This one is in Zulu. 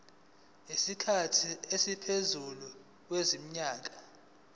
isikhathi esingaphezulu kwezinyanga